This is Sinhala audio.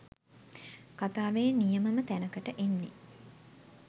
කතාවේ නියමම තැනකට එන්නේ